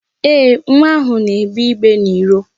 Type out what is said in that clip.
Ee, nwa ahụ na-egbe igbe n'iro.